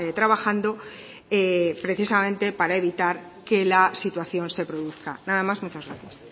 trabajando precisamente para evitar que la situación se produzca nada más muchas gracias